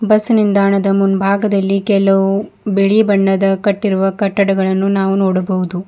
Bus ನಿಂದಾಣದ ಮುಂಭಾಗದಲ್ಲಿ ಕೆಲುವು ಬಿಳಿ ಬಣ್ಣದ ಕಟ್ಟಿರುವ ಕಟ್ಟಡಗಳನ್ನು ನಾವು ನೋಡಬಹುದು.